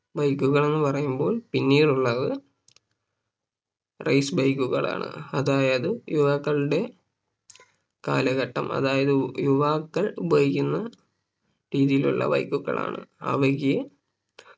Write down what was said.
Bike കൾ എന്ന് പറയുമ്പോൾ പിന്നീടുള്ളത് Race bike കളാണ് അതായത് യുവാക്കളുടെ കാലഘട്ടം അതായത് യുവാക്കൾ ഉപയോഗിക്കുന്ന രീതിയിലുള്ള Bike കളാണ് അവയ്ക്ക്